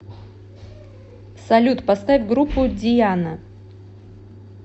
салют поставь группу диана